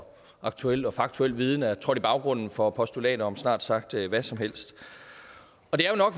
og aktuel og faktuel viden er trådt i baggrunden for postulater om snart sagt hvad som helst